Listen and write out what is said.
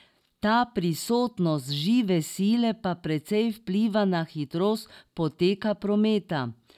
Ta prisotnost žive sile pa precej vpliva na hitrost poteka prometa.